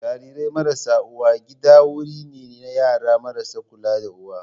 Jarirai marasa uwa gida wuri ne na yara marasa kula da uwa.